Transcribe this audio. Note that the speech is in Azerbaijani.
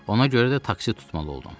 Ona görə də taksi tutmalı oldum.